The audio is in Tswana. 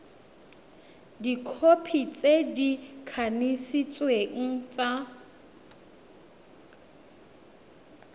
dikhopi tse di kanisitsweng tsa